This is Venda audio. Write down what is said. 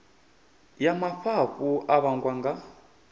ya mafhafhu a vhangwa nga